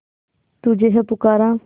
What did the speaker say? तुझे है पुकारा